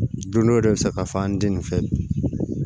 Don dɔ i bɛ se k'a fɔ an tɛ nin fɛ